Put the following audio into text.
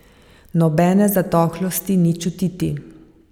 Nobene zatohlosti ni čutiti.